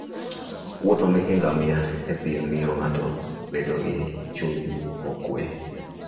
muodhe meke ngamia e thim miyo ng'ato bedo gi chuny mokwe.